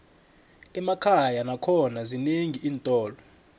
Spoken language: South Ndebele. emakhaya nakhona zinenqi iintolo